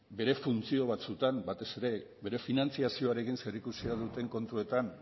bere funtzio batzuetan batez ere bere finantzazioarekin zerikusia duten kontuetan